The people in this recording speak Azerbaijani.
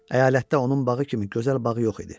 Əyalətdə onun bağı kimi gözəl bağı yox idi.